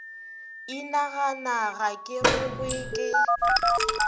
inagana ga ke rogwe ke